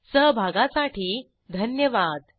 सहभागासाठी धन्यवाद